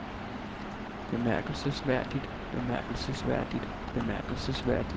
bemærkelsesværdigt bemærkelsesværdigt bemærkelsesværdigt